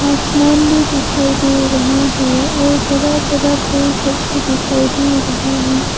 आसमान भी दिखाई दे रहा है और बड़ा बड़ा पेड़ सब दिखाई दे रहा है।